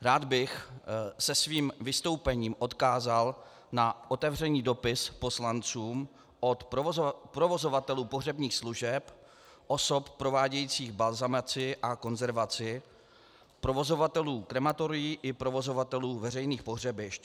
Rád bych se svým vystoupením odkázal na otevřený dopis poslancům od provozovatelů pohřebních služeb, osob provádějících balzamaci a konzervaci, provozovatelů krematorií i provozovatelů veřejných pohřebišť.